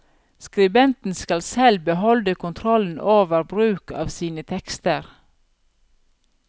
Skribenten skal selv beholde kontrollen over bruk av sine tekster.